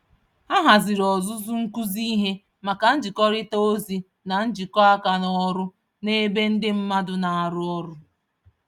Ha haziri ọzụzụ nkụzi ìhè, maka nzikọrịta ozi na njikọ aka n'ọrụ, n'ebe ndị mmadụ narụ ọrụ